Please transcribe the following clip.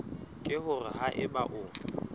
ke hore ha eba o